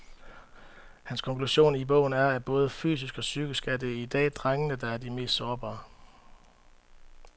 Hans konklusion i bogen er, at både fysisk og psykisk er det i dag drengene, der er de mest sårbare.